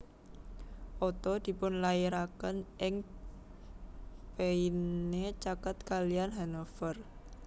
Otto dipunlairaken ing Peine caket kaliyan Hanover